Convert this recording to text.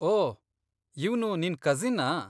ಓ, ಇವ್ನು ನಿನ್ ಕಸಿನ್ನಾ?